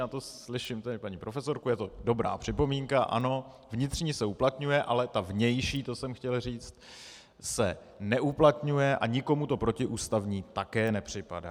Já to slyším, tady paní profesorku, je to dobrá připomínka, ano, vnitřní se uplatňuje, ale ta vnější, to jsem chtěl říct, se neuplatňuje a nikomu to protiústavní také nepřipadá.